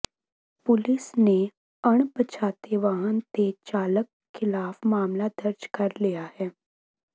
ਪੁਲਸ ਨੇ ਅਣਪਛਾਤੇ ਵਾਹਨ ਤੇ ਚਾਲਕ ਖਿਲਾਫ ਮਾਮਲਾ ਦਰਜ ਕਰ ਲਿਆ ਹੈ